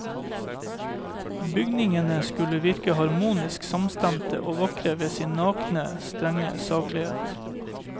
Bygningene skulle virke harmonisk samstemte og vakre ved sin nakne, strenge saklighet.